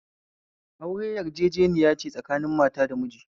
Aure yarjejeniyane tsakanin mata da miji